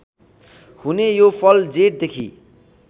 हुने यो फल जेठदेखि